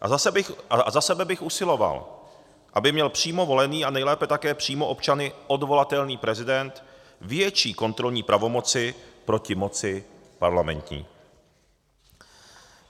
A za sebe bych usiloval, aby měl přímo volený a nejlépe také přímo občany odvolatelný prezident větší kontrolní pravomoci proti moci parlamentní.